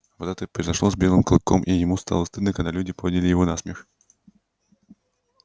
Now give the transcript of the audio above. вот это и произошло с белым клыком и ему стало стыдно когда люди подняли его на смех